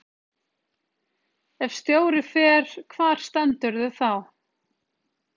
Ef stjóri fer, hvar stendurðu þá?